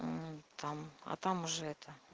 там а там уже это